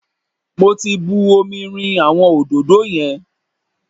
Mo ti bu omi rin àwọn òdòdó yẹn.